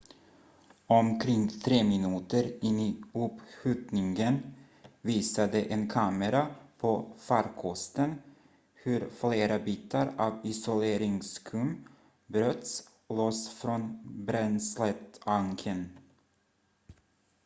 omkring 3 minuter in i uppskjutningen visade en kamera på farkosten hur flera bitar av isoleringsskum bröts loss från bränsletanken